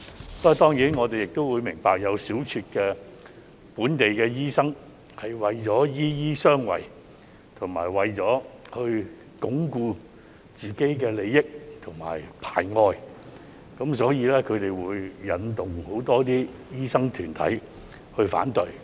不過，當然我們明白會有小撮的本地醫生為了"醫醫相衞"，為了鞏固自身的利益和排外，會引導很多醫生團體去反對。